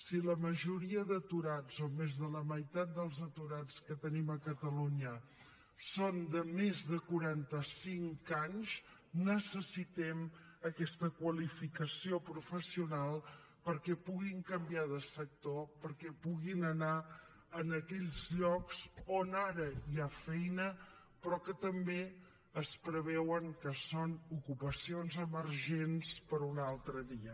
si la majoria d’aturats o més de la meitat dels aturats que tenim a catalunya són de més de quaranta cinc anys necessitem aquesta qualificació professional perquè puguin canviar de sector perquè puguin anar a aquells llocs on ara hi ha feina però que també es preveu que són ocupacions emergents per una altra via